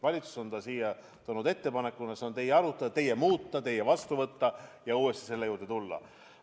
Valitsus on selle siia toonud ettepanekuna ja see on teie arutada, teie muuta, teie vastu võtta ja uuesti selle juurde tulla.